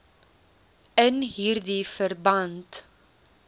in hierdie verband